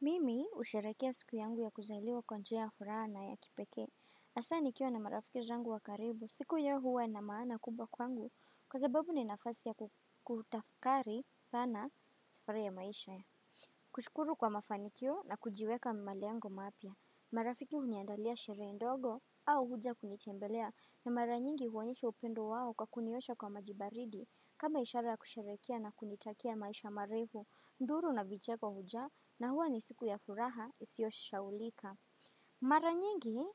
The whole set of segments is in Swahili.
Mimi husherehekea siku yangu ya kuzaliwa kwa njia ya furaha na ya kipekee hasa nikiwa na marafiki zangu wa karibu, siku hiyo huwa na maana kubwa kwangu Kwa sababu ni nafasi ya kutafakari sana safari ya maisha kushukuru kwa mafanikio na kujiweka malengo mapya marafiki huniandalia sherehe ndogo au huja kunitembelea na mara nyingi huonyesha upendo wao kwa kuniosha kwa maji baridi kama ishara kusherehekea na kunitakia maisha marefu Nduru na vicheko hujaa na huwa ni siku ya furaha isioshaulika. Mara nyingi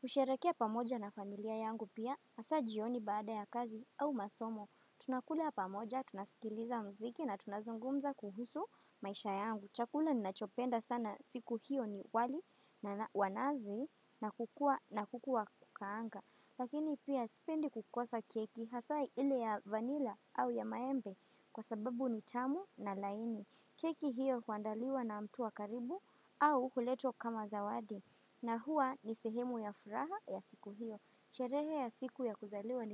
husherehekea pamoja na familia yangu pia hasa jioni baada ya kazi au masomo. Tunakula pamoja, tunasikiliza muziki na tunazungumza kuhusu maisha yangu. Chakula ninachopenda sana siku hiyo ni wali na wanazi na kukua na kuku wa kukaanga. Lakini pia sipendi kukosa keki hasa ile ya vanilla au ya maembe kwa sababu ni tamu na laini. Keki hiyo huandaliwa na mtu wa karibu au huletwa kama zawadi na hua nisehemu ya furaha ya siku hiyo. Sherehe ya siku ya kuzaliwa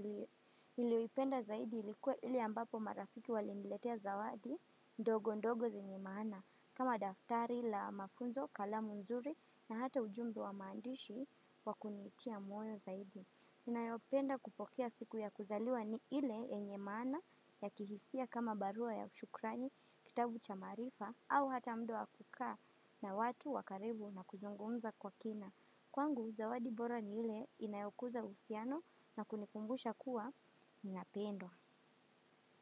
niliyoipenda zaidi ilikuwa ile ambapo marafiki waliniletea zawadi ndogo ndogo zenye maana. Kama daftari la mafunzo, kalamu nzuri na hata ujumbe wa maandishi wa kunitia moyo zaidi. Ninayopenda kupokea siku ya kuzaliwa ni ile yenye maana ya kihisia kama barua ya shukrani, kitabu cha maarifa au hata muda wa kukaa na watu wakaribu na kuzungumza kwa kina. Kwangu, zawadi bora ni ile inayokuza uhusiano na kunikumbusha kuwa ninapendwa.